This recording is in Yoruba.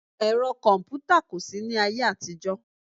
Ẹ̀rọ kọ̀mpútà kò sí ní ayé àtijọ́